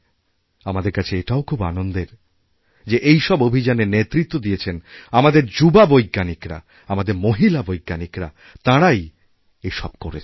আমাদের কাছে এটাও খুব আনন্দের যে এই সব অভিযানের নেতৃত্ব দিয়েছেন আমাদের যুবাবৈজ্ঞানিকরা আমাদের মহিলা বৈজ্ঞানিকরা তাঁরাই এসব করেছেন